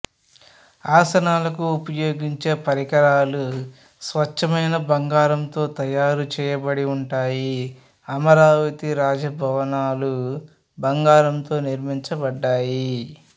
ఆసనాలకు ఉపయోగించే పరికరాలు స్వచ్ఛమైన బంగారంతో తయారు చేయబడిఉంటాయి అమరావతి రాజభవనాలు బంగారంతో నిర్మించబడ్డాయి